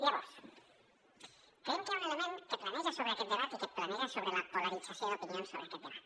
llavors creiem que hi ha un element que planeja sobre aquest debat i que es planteja sobre la polarització d’opinions sobre aquest debat